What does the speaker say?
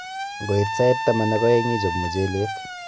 Ngoit sait taman ak aeng' ichop mchelek.